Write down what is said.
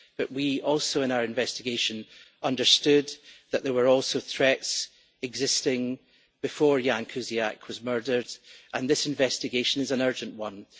But also in our investigation we understood that there were also threats existing before Ján Kuciak was murdered, and this investigation is an urgent one.